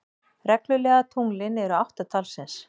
Reglulegu tunglin eru átta talsins.